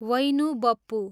वैनु बप्पु